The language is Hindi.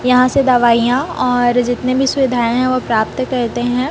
यहां से दवाइयां और जितने भी सुविधाएं हैं वो प्राप्त करते हैं।